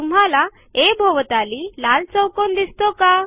तुम्हाला आ भोवताली लाल चौकोन दिसतो का